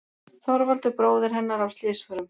Þorvaldur bróðir hennar af slysförum.